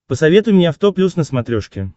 посоветуй мне авто плюс на смотрешке